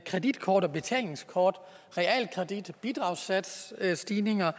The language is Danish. kreditkort og betalingskort realkredit bidragssatsstigninger